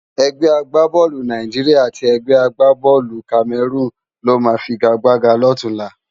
Ègbè àgbábòlú Nàijiriá àti ègbè àgbábòlú Kámèrún ló má figágbágá lòtúnlá